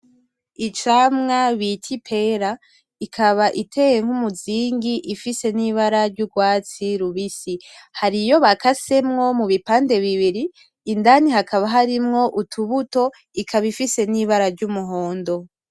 Icamwa bita ipera, ikaba iteye nkumuzingi ifise ibara ryurwatsi rubisi . Hari iyo bakasemwo mubipannde bibiri, indani hakaba harimwo utubuto, indani hakabaharimwo ibara ry'umuhondo